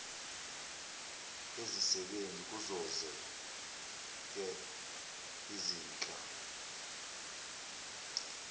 ezisebenzi kuzozoke izinhla